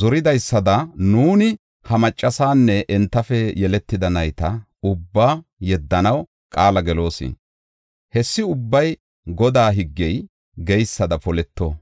zoridaysada nuuni ha maccasaanne entafe yeletida nayta ubbaa yeddanaw qaala geloos. Hessi ubbay Godaa higgey geysada poleto.